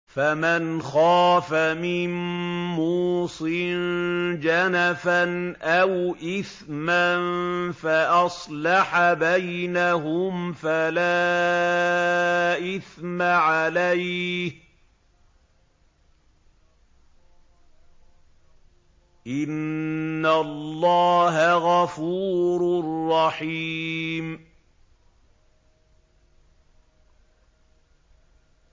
فَمَنْ خَافَ مِن مُّوصٍ جَنَفًا أَوْ إِثْمًا فَأَصْلَحَ بَيْنَهُمْ فَلَا إِثْمَ عَلَيْهِ ۚ إِنَّ اللَّهَ غَفُورٌ رَّحِيمٌ